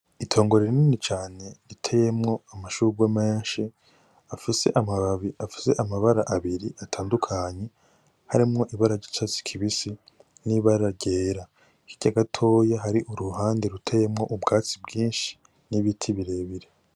Itongo rinini cane riteyemwo amashurwe menshi afise amababi afise amabara abiri atandukanye, harimwo ibara ry'icatsi kibisi n'ibara ryera. Hirya gatoya hari uruhande ruteyemwo ubwatsi bwinshi n'ibiti birebire.